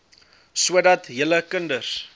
sodat julle kinders